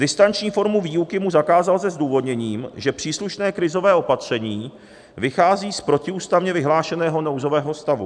Distanční formu výuky mu zakázal se zdůvodněním, že příslušné krizové opatření vychází z protiústavně vyhlášeného nouzového stavu.